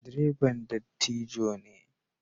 Direban dattijo ne.